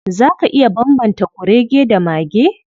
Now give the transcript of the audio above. Za ka iya bambanta kurege da mage?